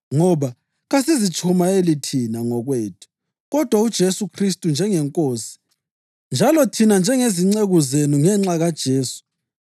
Ngoba kasizitshumayeli thina ngokwethu, kodwa uJesu Khristu njengeNkosi, njalo thina njengezinceku zenu ngenxa kaJesu.